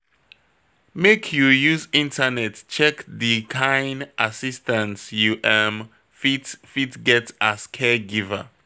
Make you use internet check di kain assistance you um fit fit get as caregiver.